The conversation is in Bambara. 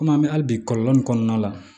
Komi an bɛ hali bi kɔlɔlɔ nin kɔnɔna la